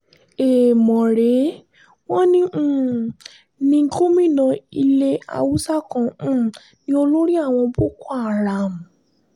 èèmọ̀ rèé wọn um ní gómìnà ilé haúsá kan um ní olórí àwọn boko haram